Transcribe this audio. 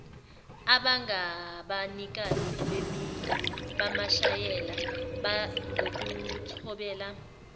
abangabanikazi bamasheya ngokuthobela